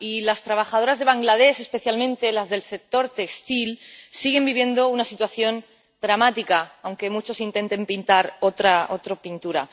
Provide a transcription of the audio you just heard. Y las trabajadoras de Bangladés, especialmente las del sector textil, siguen viviendo una situación dramática, aunque muchos intenten pintar otra pintura.